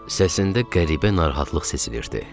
Səsində qəribə narahatlıq sezilirdi.